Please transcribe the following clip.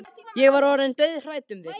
Ég var orðin dauðhrædd um þig,